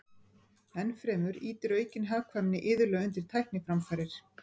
Ennfremur ýtir aukin hagkvæmni iðulega undir tækniframfarir.